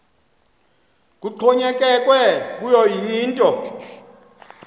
kuxhonyekekwe kuyo yinto